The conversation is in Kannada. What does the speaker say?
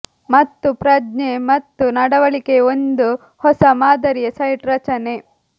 ಮತ್ತು ಪ್ರಜ್ಞೆ ಮತ್ತು ನಡವಳಿಕೆಯ ಒಂದು ಹೊಸ ಮಾದರಿಯ ಸೈಟ್ ರಚನೆ